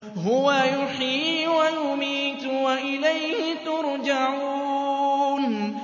هُوَ يُحْيِي وَيُمِيتُ وَإِلَيْهِ تُرْجَعُونَ